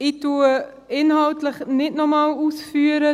Ich führe inhaltlich nicht noch einmal aus.